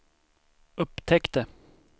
upptäckte